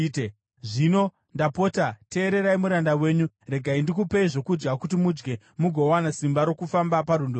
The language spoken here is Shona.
Zvino, ndapota teererai muranda wenyu, regai ndikupei zvokudya kuti mudye mugowana simba rokufamba parwendo rwenyu.”